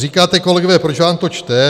Říkáte, kolegové, proč vám to čtu.